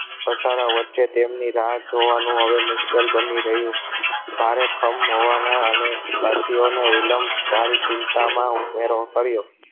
ધસારા વચ્ચે તેમની રાહ જોવા નું હવે મુશ્કેલ બની રહ્યો. ભારે ખમ હોવા ના અને સાથીઓ ને વિલંબ તારી ચિંતા માં ઉમેરો કર્યો.